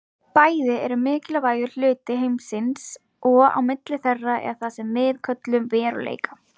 Bæði eru mikilvægur hluti heimsins og á milli þeirra er það sem við köllum veruleika.